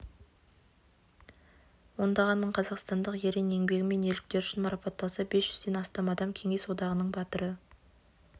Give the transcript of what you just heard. ондаған мың қазақстандық ерен еңбегі мен ерліктері үшін марапатталса бес жүзден астам адам кеңес одағының батыры